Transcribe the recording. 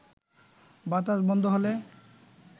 বাতাস বন্ধ হলে